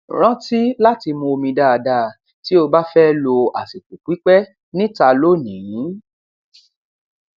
rántí láti mu omi dáadáa tí ó bá fẹ lo àsìkò pípẹ níta lónìí